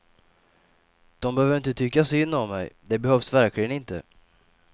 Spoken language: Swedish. De behöver inte tycka synd om mig, det behövs verkligen inte.